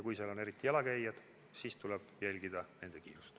Kui seal on jalakäijad, siis tuleb jälgida nende kiirust.